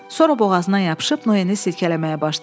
Sonra boğazına yapışıb Noyeni silkələməyə başladı.